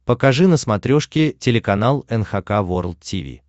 покажи на смотрешке телеканал эн эйч кей волд ти ви